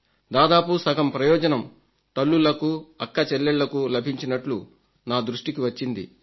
దాదాపు సగం ప్రయోజనం తల్లులకు అక్కచెల్లెళ్లకు లభించినట్లు నా దృష్టికి వచ్చింది